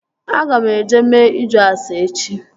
Aga m eje mee ịjụ ase echi